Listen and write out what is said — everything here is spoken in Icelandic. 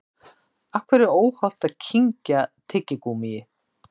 Af hverju er óhollt að kyngja tyggigúmmíi?